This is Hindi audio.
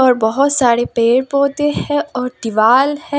और बहोत सारे पेड़ पौधे है और दीवाल है।